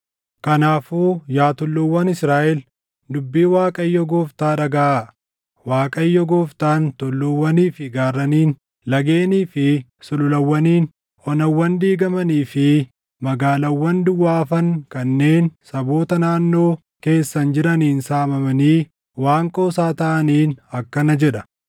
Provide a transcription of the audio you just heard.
kanaafuu yaa tulluuwwan Israaʼel, dubbii Waaqayyo Gooftaa dhagaʼaa: Waaqayyo Gooftaan tulluuwwanii fi gaarraniin, lageenii fi sululawwaniin, onawwan diigamanii fi magaalaawwan duwwaa hafan kanneen saboota naannoo keessan jiraniin saamamanii waan qoosaa taʼaniin akkana jedha: